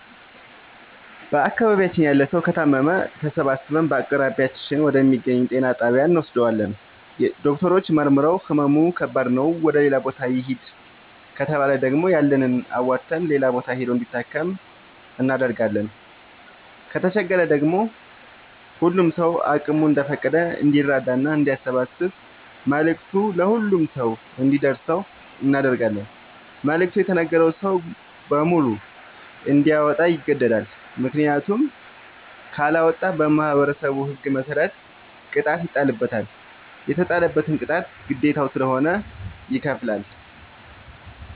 በአካባቢያችን ያለ ሠዉ ከታመመ ተሠባስበን በአቅራቢያችን ወደ ሚገኝ ጤና ጣቢያ እንወስደዋለን። ዶክተሮች መርምረዉ ህመሙ ከባድ ነዉ ወደ ሌላ ቦታ ይህድ ከተባለ ደግሞ ያለንን አዋተን ሌላ ቦታ ሂዶ እንዲታከም እናደርጋለን። ከተቸገረ ደግሞ ሁሉም ሰዉ አቅሙ እንደፈቀደ እንዲራዳና አንዲያሰባስብ መልዕክቱ ለሁሉም ሰው አንዲደርሰው እናደርጋለን። መልዕክቱ የተነገረዉ ሰዉ በሙሉ እንዲያወጣ ይገደዳል። ምክንያቱም ካለወጣ በማህበረሠቡ ህግ መሰረት ቅጣት ይጣልበታል። የተጣለበትን ቅጣት ግዴታዉ ስለሆነ ይከፍላል።